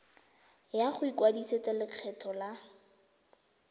ya go ikwadisetsa lekgetho la